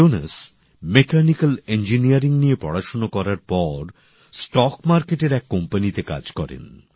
Jones mechanical engineering নিয়ে পড়াশোনা করার পর স্টক মার্কেটের এক কোম্পানিতে কাজ করেন